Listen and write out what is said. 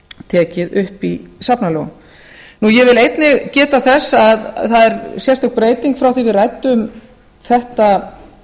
tekið upp í safnalögunum ég vil einnig geta þess að það er sérstök breyting frá því við ræddum þetta